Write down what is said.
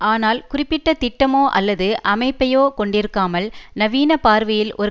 ஆனால் குறிப்பிட்ட திட்டமோ அல்லது அமைப்பையோ கொண்டிருக்காமல் நவீன பார்வையில் ஒரு